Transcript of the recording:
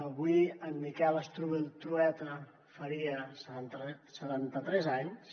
avui en miquel strubell trueta faria setanta tres anys